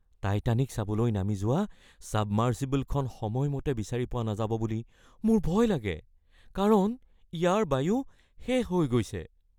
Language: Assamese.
টাইটানিক চাবলৈ নামি যোৱা ছাবমাৰ্চিবলখন সময়মতে বিচাৰি পোৱা নাযাব বুলি মোৰ ভয় লাগে কাৰণ ইয়াৰ বায়ু শেষ হৈ গৈছে। (ব্যক্তি ২)